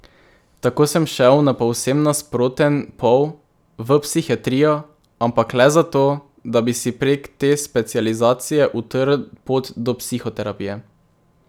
Tako sem šel na povsem nasproten pol, v psihiatrijo, ampak le zato, da bi si prek te specializacije utrl pot do psihoterapije.